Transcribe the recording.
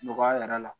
Nɔgɔya yɛrɛ la